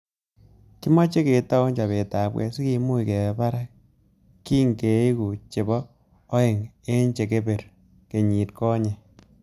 Kimechei ketou chopetabkei sikemuch kebe barak kingeeku chebo aeng eng chereber kenyit konyei